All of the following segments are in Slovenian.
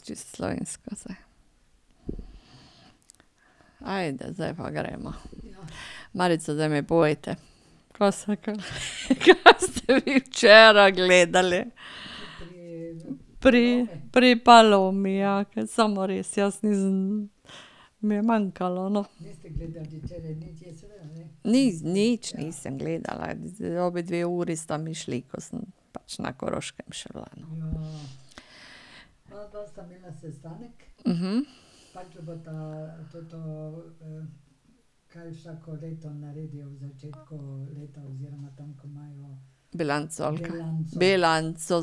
Čisto slovensko zdaj. Ajde, zdaj pa greva. Marica, zdaj mi povejte, ka se kaj ste vi včeraj gledali? Pri, pri Palomi, ja, kaj samo res, jaz nisem, mi je manjkalo, no. nič nisem gledala, obe dve uri sta mi šli, ko sem pač na Koroškem še bila, no. Bilanco, ali ka? Bilanco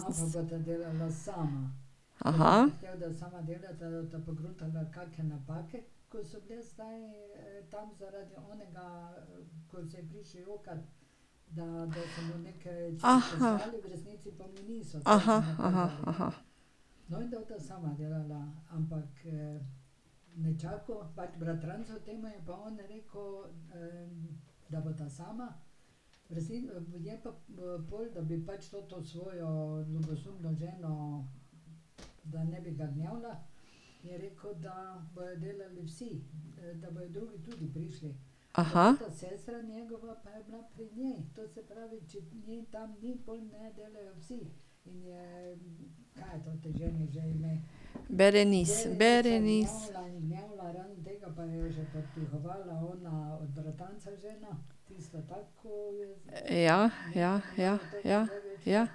Berenis, Berenis. Ja, ja, ja, ja.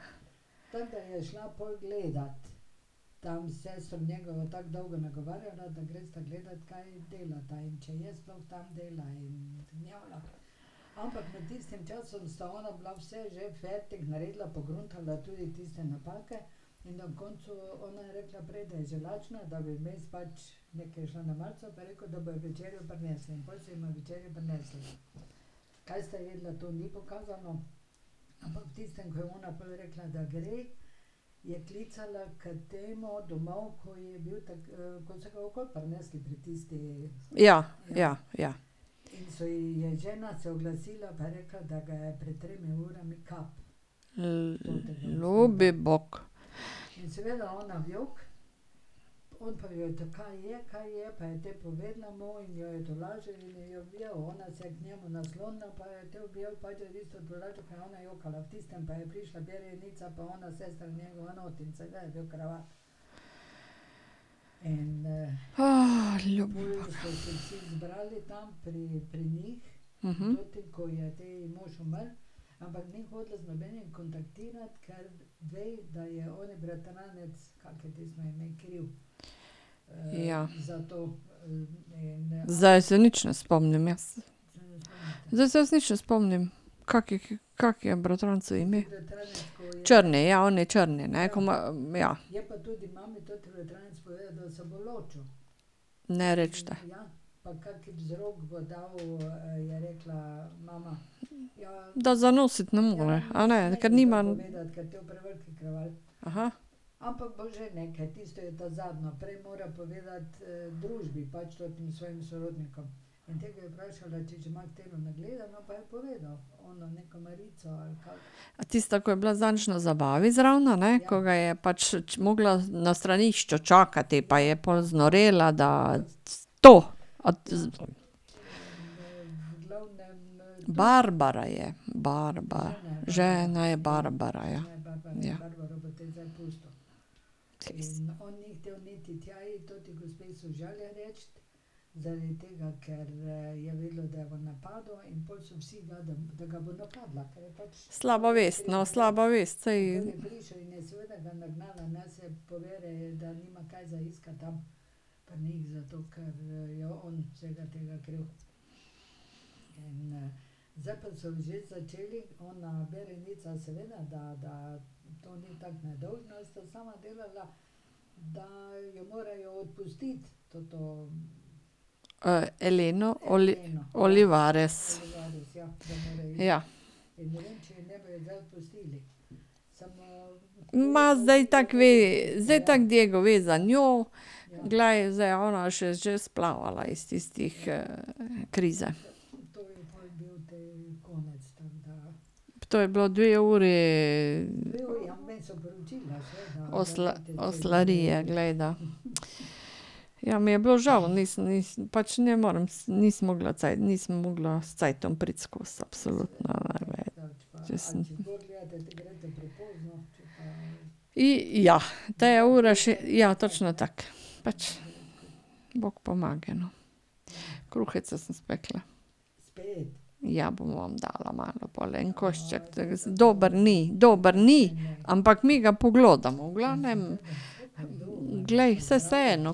Ja, ja, ja. ljubi bog. ljubi bog. Ja. Zdaj se nič ne spomnim jaz. Zdaj se jaz nič ne spomnim, kako, kako je bratrancu ime? Črni, ja, oni črni, ne? Ko ima, ja. Ne recite. Da zanositi ne more, a ne, ker nima ... A tista, ko je bila zadnjič na zabavi zraven, a ne, ko ga je pač morala na stranišču čakati pa je pol znorela, da ... To? A ... Barbara je, Barbara, žena je Barbara, ja. Ja. Slaba vest, no, slaba vest, saj ... Eleno. Olivares. Ja. Ma zdaj tako ve, zdaj tako Diego ve za njo, glej, zdaj je ona se že splavala iz tistih krize. To je bilo dve uri ... oslarije, glej da. Ja, mi je bilo žal, nisem, nisem, pač ne morem, nisem mogla cajta, nisem mogla s cajtom priti skoz absolutno ... Če sem ... ja. Te je ura še, ja, točno tako. Pač. Bog pomagaj, no. Kruheca sem spekla. Ja, bom vam dala malo pol, en košček, tako dober ni, dober ni, ampak mi ga poglodamo, v glavnem. Glej, saj vseeno.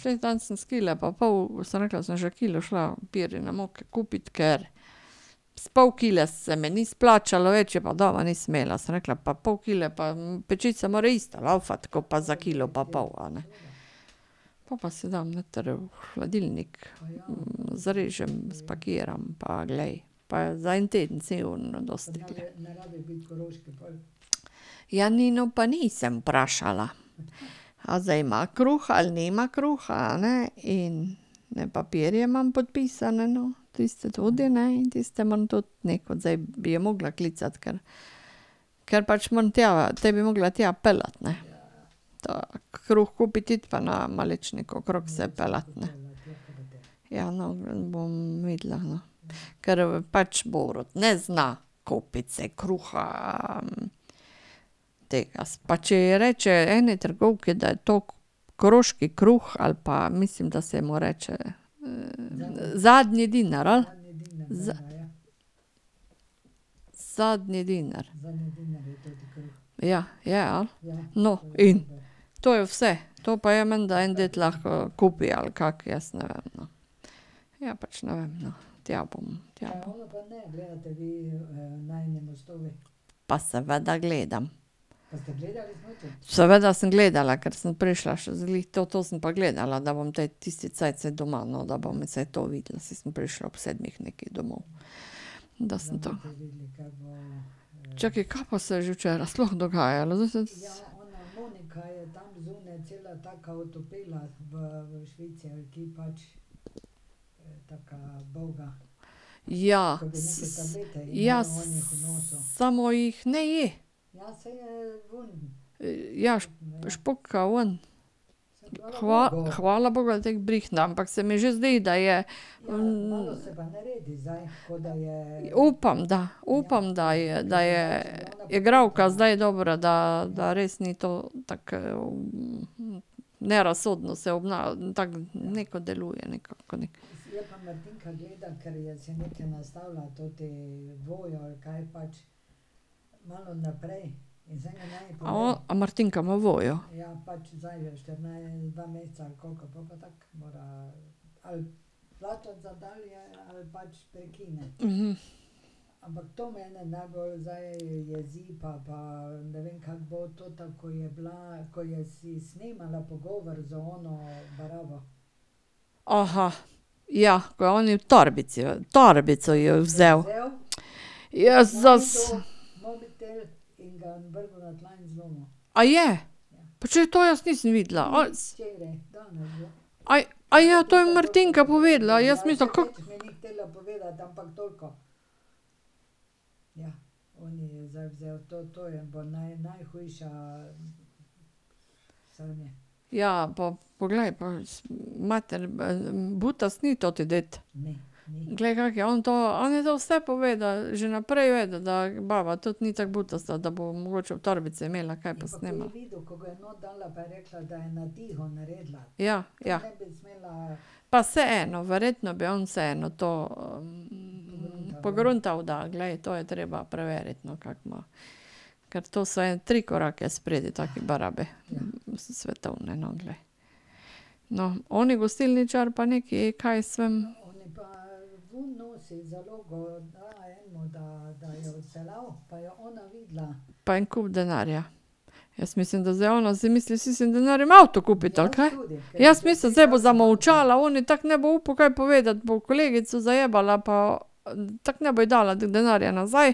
Saj danes sem s kile pa pol, sem rekla, sem že kilo šla pirine moke kupit, ker s pol kile se mi ni splačalo, več je pa doma nisem imela, sem rekla pa pol kile pa pečica mora isto laufati ko pa za kilo pa pol, a ne. Po pa si dam noter v hladilnik, zrežem, spakiram, pa glej. Pa za en teden cel imam dosti, glej. Ja, Nino pa nisem vprašala. A zdaj ima kruh ali nima kruha, a ne, in ene papirje imam podpisane, no, tiste tudi, ne, in tiste moram tudi nekod, zdaj bi jo morala klicati, ker, ker pač moram tja, te bi morala tja peljati, ne. Ta kruh kupit iti pa se okrog peljati, ne. Ja, bom videla, no. Ker pač Borut ne zna kupiti si kruha tega. Pa če ji reče eni trgovki, da je to koroški kruh ali pa mislim, da se mu reče zadnji denar, ali? Zadnji dinar. Ja, je, ali? No, in to je vse. To pa ja menda en dec lahko kupi, ali kako, jaz ne vem, no. Ja, pač ne vem, no. Tja bom, tja bom ... Pa seveda gledam. Seveda sem gledala, ker sem prišla še glih, to, to sem pa gledala, da bom te tisti cajt doma, no, da bom saj to videla, saj sem prišla ob sedmih neki domov, da sem to ... Čakaj, ka pa se je že včeraj sploh dogajalo? Zdaj se ... Ja, ... Ja, samo jih ne je. ja, špuka ven. hvala bogu, da je tako brihtna, ampak se mi že zdi, da je ... Upam, da, upam, da je, da je igralka zdaj dobra, da, da res ni to tako nerazsodno se tako neka deluje, neka, ko neki ... A Martinka ima Voyo? ja, ko je oni v torbici, torbico ji je vzel. Jezus. A je? Pa če to jaz nisem videla. to je Martinka povedala, jaz sem mislila, ... Ja, pa ... Poglej pa, mater, butasto ni toti ded. Glej, kako je on to, on je to vse povedal, že naprej vedel, da baba tudi ni tako butasta, da bo mogoče v torbici imela kaj pa snemala. Ja, ja. Pa vseeno, verjetno bi on vseeno to pogruntal, da, glej, to je treba preveriti, no, kako ima. Ker to so ene tri korake spredaj take barabe, svetovne, no, glej. No, oni gostilničar pa neki, kaj jaz vem. Pa en kup denarja. Jaz mislim, da ona zdaj misli s tistim denarjem avto kupiti, ali kaj. Jaz mislim, zdaj bo zamolčala, oni tako ne bo upal kaj povedati, bo kolegico zajebala, pa tako ne bo ji dala denarja nazaj.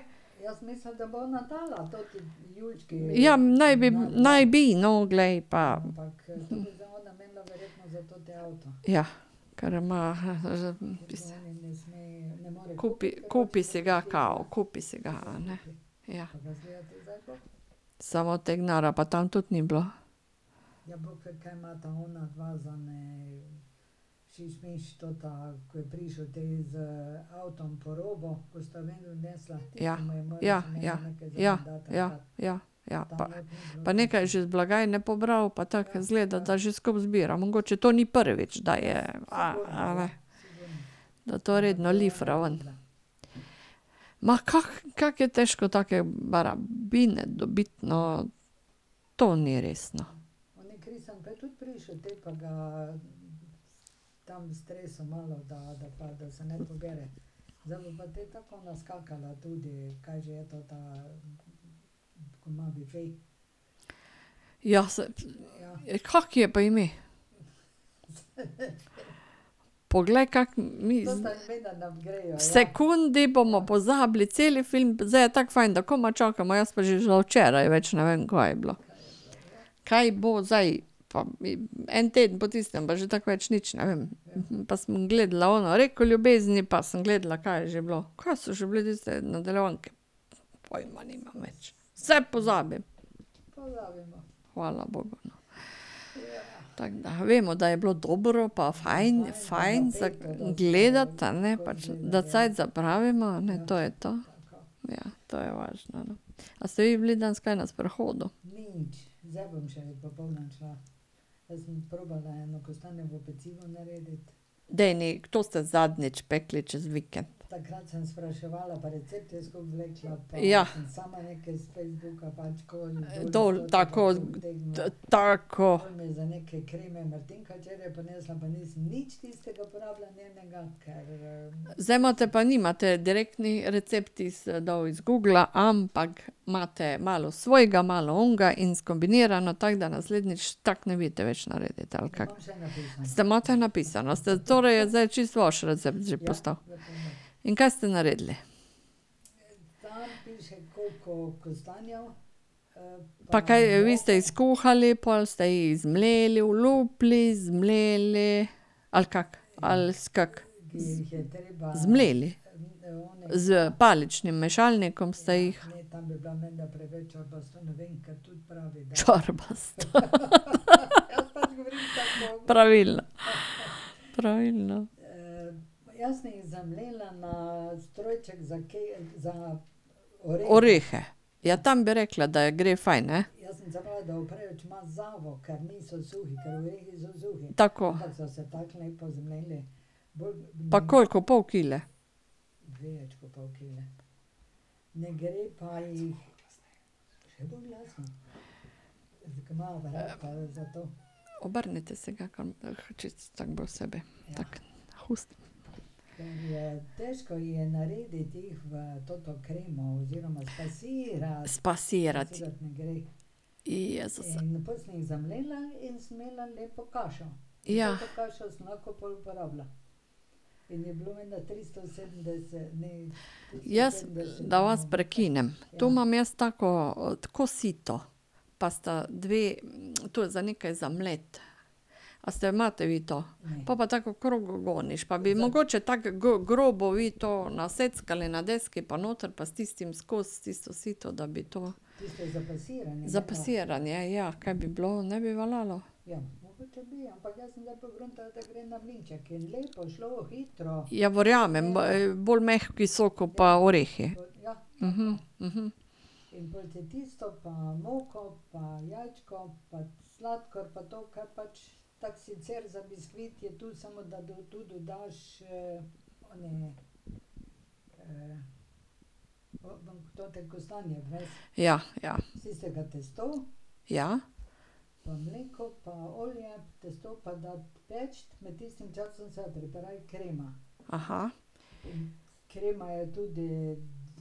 Ja, naj bi, naj bi, no, glej pa ... Ja, ker ima ... Kupi, kupi si ga kao, kupi si ga, a ne. Ja. Samo tega denarja pa tam tudi ni bilo. Ja, ja, ja, ja, ja, ja, ja. Pa nekaj je še iz blagajne pobral pa tako, izgleda, da že skupaj zbira, mogoče to ni prvič, da je, a, a ne. Da to redno lifra ven. Ma kako je težko take barabine dobiti, no. To ni res, no. Ja ... Ja, kako ji je pa ime? Poglej, kako mi ... V sekundi bomo pozabili celi film, zdaj je tako fajn, da komaj čakamo, jaz pa še za včeraj več ne vem, kaj je bilo. Kaj bo zdaj. En teden po tistem pa že tako več nič ne vem. Pa sem gledala ono Reko ljubezni pa sem gledala, kaj je že bilo? Kaj so že bile tiste nadaljevanke? Pojma nimam več. Vse pozabim. Hvala bogu, no. Tako da, vemo, da je bilo dobro pa fajn, fajn za gledati, a ne, pa da cajt zapraviva, a ne, to je to. Ja, to je važno, ne. A ste vi bili danes kaj na sprehodu? Daj, to ste zadnjič pekli čez vikend. Ja. Dol, tako. Tako. Zdaj imate pa nimate direktni recepti dol iz Googla, ampak imate malo svojega, malo onega in skombinirano, tako da naslednjič tako ne veste več narediti, ali kako? Ste, imate napisano, ste, torej je zdaj čisto vaš recept že postal? In kaj ste naredili? Pa kaj vi ste jih skuhali, pol ste jih zmleli, olupili, zmleli? Ali kako? Ali kako? Zmleli? S paličnim mešalnikom ste jih? Čorbasta. Pravilno. Pravilno. Orehe. Ja, tam bi rekla da je gre fajn, ne. Tako. Pa koliko, pol kile? Obrnite si ga kam, ke čisto tako bolj sebi. Tako. K ustom. Spasirati. Jezus. Ja. Jaz, da vas prekinem. To imam jaz tako, ko sito, pa sta dve, tu za nekaj za mleti. A ste, imate vi to? Pol pa tako okrog goniš pa bi mogoče tako grobo vi to naseckali na deski, pa noter, pa s tistim skozi tisto sito, da bi to. Za pasiranje, ja. Kaj bi bilo, ne bi veljalo? Ja, verjamem, bolj mehki so ko pa orehi. Ja,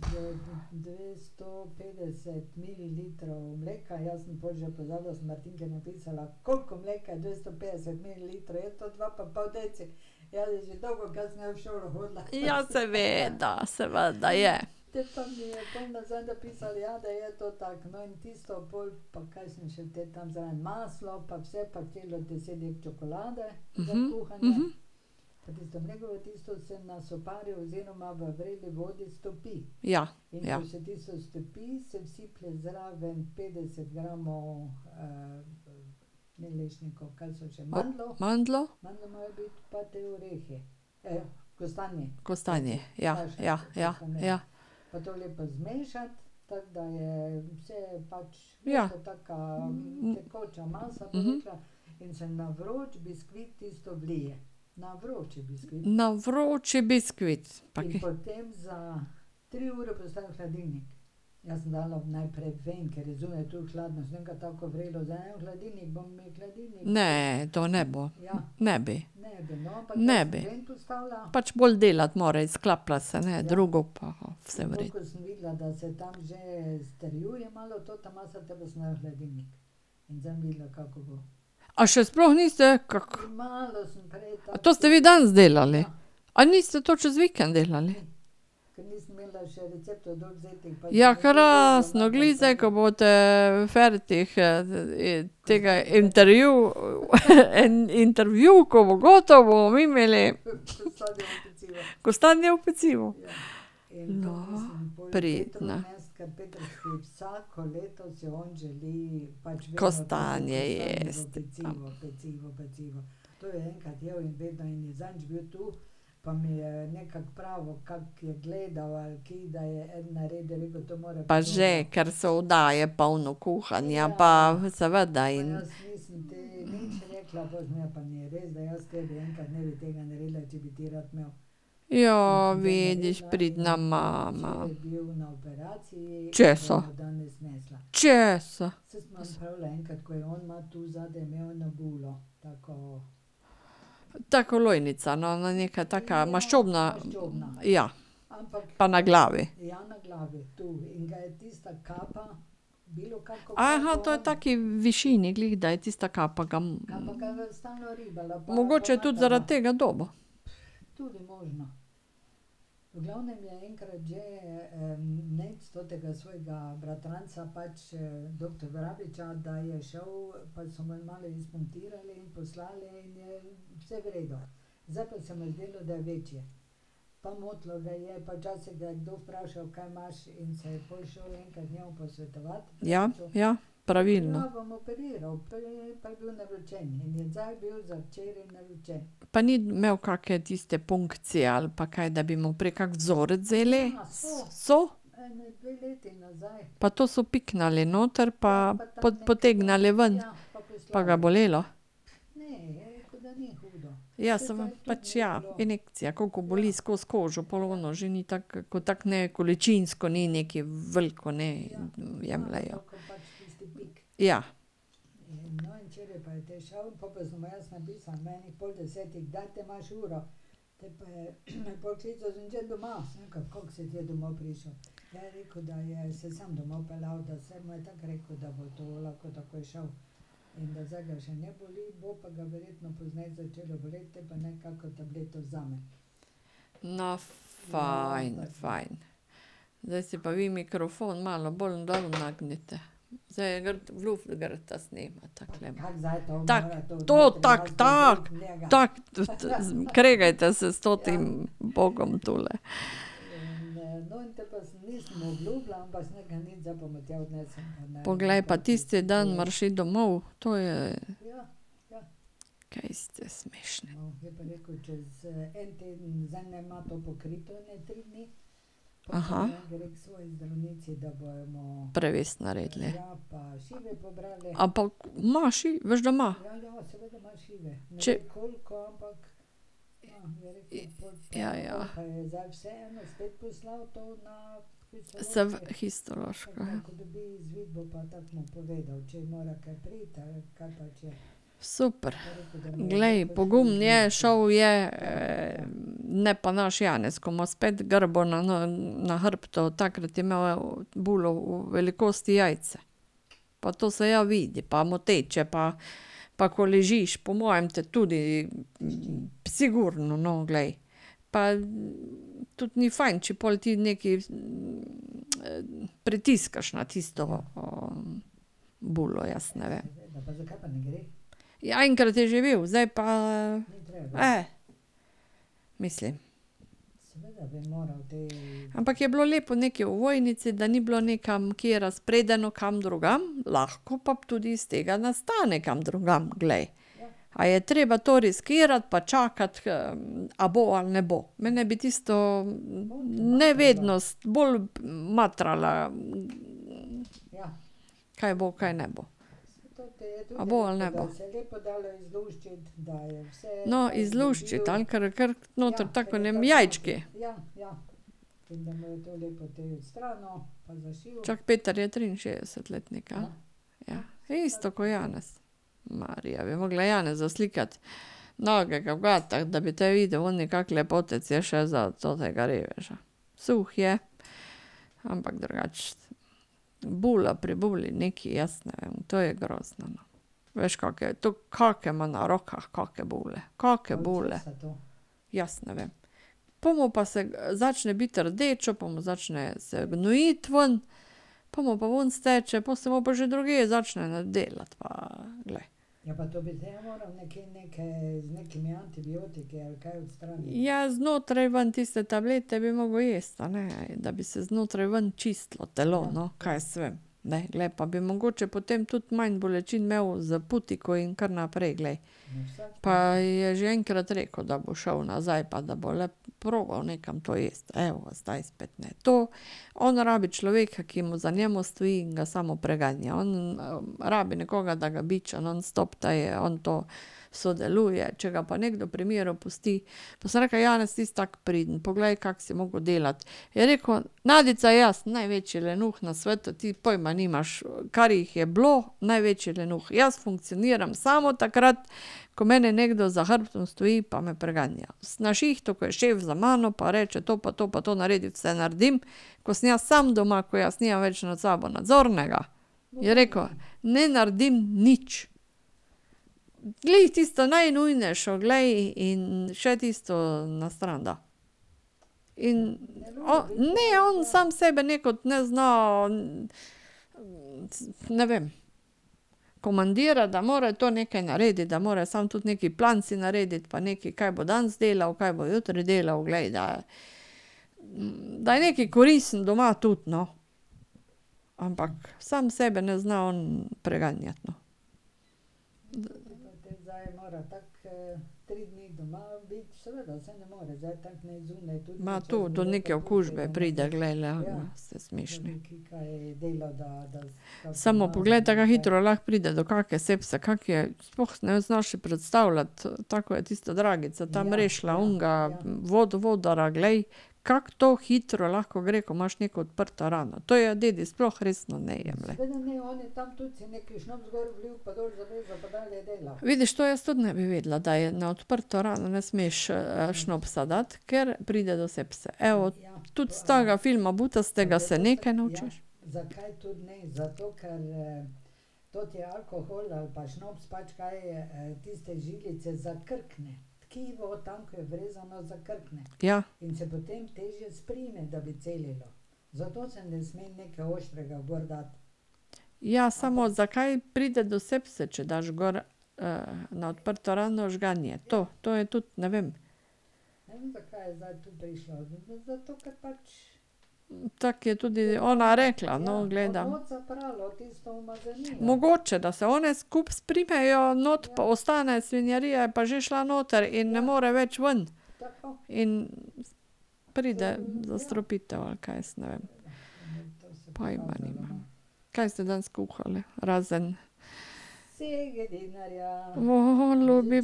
ja. Ja. Ja, seveda, seveda je. Ja, ja. Mandljev. Kostanji. Ja, ja, ja, ja. Ja. Na vroči biskvit? Pa kaj ... Ne, to ne bo. Ne bi. Ne bi. Pač bolj delati mora, izklaplja se, ne, drugo pa vse v redu. A še sploh niste, kako? A to ste vi danes delali? A niste to čez vikend delali? Ja, krasno, glih zdaj, ko boste fertik tega intervju, ko bo gotovo, bomo mi imeli ... Kostanjevo pecivo. Pridna. Kostanje jesti. Pa že, ker so oddaje pa ono kuhanje pa seveda in ... vidiš, pridna mama. Česa? Česa? Tako kot lojnica, no, neka taka maščobna ... Ja. Pa na glavi? to je v taki višini glih, da je tista kapa ga ... Mogoče je tudi zaradi tega dobil. Ja, ja. Pravilno. Pa ni imel kake tiste punkcije ali pa kaj, da bi mu prej kak vzorec vzeli? So? Pa to so piknili noter pa potegnili ven? Pa ga bolelo? Ja pač ja, injekcija, ko boli skozi kožo, pol ono že ni tako, ko tako ne količinsko ni nekaj veliko, ne, jemljejo. Ja. No, fajn, fajn. Zdaj si pa vi mikrofon malo bolj dol nagnite, zdaj je gor, v luft gresta z njim, takole. Tako, to, tako, tako! Tako! kregajte se s totim bogom tule. Poglej, pa tisti dan moraš iti domov, to je. Prevez naredili. A pa ima veš, da ima. Če ... Ja, ja. histološko, ja. Super. Glej, pogumen je, šel je ne pa naš Janez, ko ima spet grbo na hrbtu, takrat je imel bulo v velikosti jajce. Pa to se ja vidi, pa moteče pa pa ko ležiš, po mojem te tudi ... Sigurno, no, glej. Pa tudi ni fajn, če pol ti nekaj pritiskaš na tisto bulo, jaz ne vem. Ja, enkrat je že bil, zdaj pa. mislim ... Ampak je bilo lepo nekaj v ovojnici, da ni bilo nekam, kje razpredeno kam drugam, lahko pa tudi iz tega nastane kam drugam, glej. A je treba to riskirati pa čakati, a bo ali ne bo. Mene bi tisto, ne vedno, bolj matrala ... Kaj bo, kaj ne bo. A bo ali ne bo. No, izluščiti, ali? Ker kar noter je tako ko v enem jajčku. Čakaj, Peter je triinšestdeset letnik, ja? Ja. Isto ko Janez. Marija, bi morala Janezu slikati nagega v gatah, da bi te videl oni, kako lepotec je še za tega reveža. Suh je, ampak drugače bula pri buli nekaj, jaz ne vem, to je grozno, no. Veš, kake je to, to kake ima na rokah, kake bule, kake bule. Jaz ne vem. Bomo pa se, začne biti rdeče pa mu začne se gnojiti ven, pol mu pa ven steče, pol se mu pa že drugje začne delati, pa glej ... Ja, znotraj ven, tiste tablete bi moral jesti, a ne, da bi se znotraj ven čistilo telo, no, kaj jaz vem, ne, glej pa bi mogoče potem tudi manj bolečin imeli za putiko in kar naprej, glej. Pa je že enkrat rekel, da bo šel nazaj pa da bo le probal nekam to iti, evo, zdaj spet ne. To, on rabi človeka, ki mu za njem stoji in ga samo preganja, on rabi nekoga, da ga biča nonstop, da je on to sodeluje, če ga pa nekdo pri miru pusti ... Pa sem rekla: "Janez ti si tako priden, poglej, kako si moral delati." Je rekel: "Nadica, jaz sem največji lenuh na svetu, ti pojma nimaš, kar jih je bilo, največji lenuh, jaz funkcioniram samo takrat, ko meni nekdo za hrbtom stoji pa me preganja. Na šihtu, ko je šef za mano pa reče: "To pa to pa to naredi," vse naredim, ko sem jaz sam doma, ko jaz nimam več nad sabo nadzornega," je rekel, "ne naredim nič." Glih tisto najnujnejše, glej, in še tisto na stran da. In ... Ne, on sam sebe nekod ne zna ... Ne vem. Komandira, da mora to nekaj narediti, da mora sam tudi nekaj plan si narediti pa nekaj, kaj bo danes delal, kaj bo jutri delal, glej, da, da je nekaj koristen doma tudi, no. Ampak sam sebe ne zna on preganjati, no. Ma to do neke okužbe pride, glej, so smešni. Samo poglej te, ka hitro lahko pride do kakšne sepse, kako je, sploh si ne znaš predstavljati, tako ko je tisto Dragica tam rešila onega vodovodarja, glej, kako to hitro lahko gre, ko imaš neko odprto rano, to je dedi sploh resno ne jemljejo. Vidiš, to jaz tudi ne bi vedela, da je na odprto rano ne smeš šnopsa dati, ker pride do sepse, evo. Tudi s takega filma butastega se kaj naučiš. Ja. Ja, samo zakaj pride do sepse, če daš gor na odprto rano žganje? To, to je tudi, ne vem. Tako je tudi ona rekla, no, gledam ... Mogoče, da se one skupaj sprimejo, not pa ostane, svinjarija je pa že šla noter in ne more več ven. In pride zastrupitev, ali kaj, jaz ne vem. Pojma nimam. Kaj ste danes kuhali? Razen ... ljubi